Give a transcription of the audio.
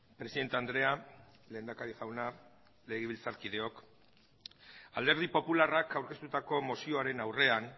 presidente andrea lehendakari jauna legebiltzarkideok alderdi popularrak aurkeztutako mozioaren aurrean